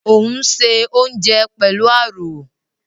Ò ń se oúnjẹ pẹ̀lú àrò